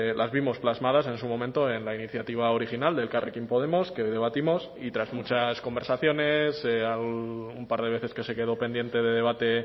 las vimos plasmadas en su momento en la iniciativa original de elkarrekin podemos que hoy debatimos y tras muchas conversaciones un par de veces que se quedó pendiente de debate